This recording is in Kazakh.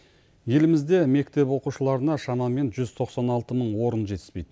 елімізде мектеп оқушыларына шамамен жүз тоқсан алты мың орын жетіспейді